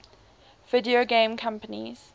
video game companies